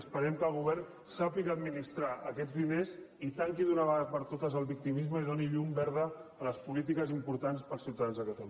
esperem que el govern sàpiga administrar aquests diners i tanqui d’una vegada per totes el victimisme i doni llum verda a les polítiques importants per als ciutadans de catalunya